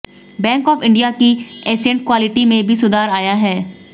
bank of India की asset quality में भी सुधार आया है